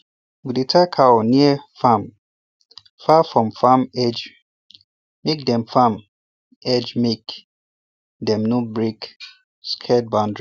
we dey tie cow near farm far from farm edge make dem farm edge make dem no break scared boundary